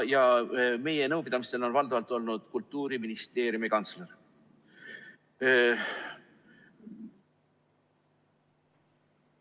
Meie nõupidamistel on valdavalt olnud Kultuuriministeeriumi kantsler.